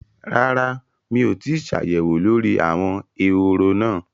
Rárá mi ò tíì ṣàyẹ̀wò lórí àwọn ehoro náà